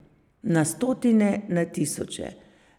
Na stotine, na tisoče!